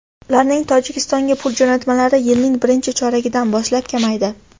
Ularning Tojikistonga pul jo‘natmalari yilning birinchi choragidan boshlab kamaydi.